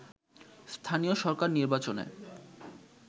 স্থানীয় সরকার নির্বাচনে